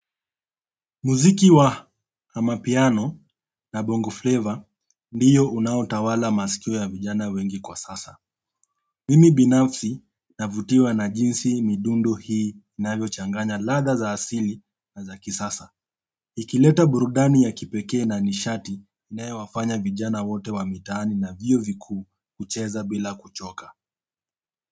Muziki wa amapiano na bongo flavor ndiyo unaotawala masikio ya vijana wengi kwa sasa. Mimi binafsi navutiwa na jinsi midundo hii inavyochanganya ladha za asili na za kisasa. Ikileta burudani ya kipekee na nishati inayowafanya vijana wote wa mitaani na vyuo vikuu kucheza bila kuchoka.